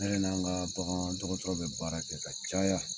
Ne yɛrɛ n' an ka bagandɔgɔdɔgɔtɔrɔ bɛ baara kɛ ka caya.